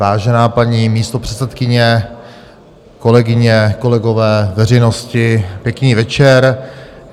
Vážená paní místopředsedkyně, kolegyně, kolegové, veřejnosti, pěkný večer.